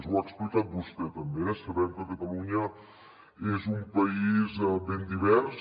ho ha explicat vostè també eh sabem que catalunya és un país ben divers